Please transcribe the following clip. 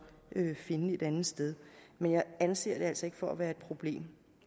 finde et andet sted men jeg anser det altså ikke for at være et problem